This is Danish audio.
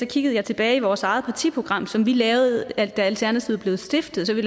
kiggede jeg tilbage i vores eget partiprogram som vi lavede da alternativet blev stiftet vi